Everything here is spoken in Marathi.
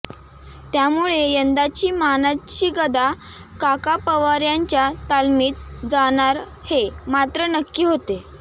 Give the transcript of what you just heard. त्यामुळे यंदाची मानाची गदा काका पवार यांच्या तालमीत जाणार हे मात्र नक्की होते